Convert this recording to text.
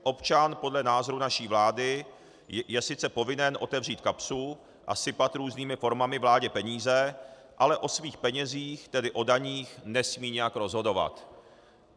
Občan podle názoru naší vlády je sice povinen otevřít kapsu a sypat různými formami vládě peníze, ale o svých penězích, tedy o daních, nesmí nijak rozhodovat.